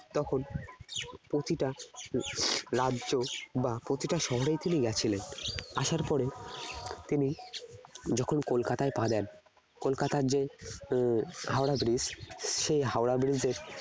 তখন প্রতিটা রাজ্য বা প্রতিটা শহরেই তিনি গেছিলেন আসার পরে যখন তিনি কলকাতায় পা দেন কলকাতার যে আহ হাওড়া bridge সেই হাওড়া bridge এ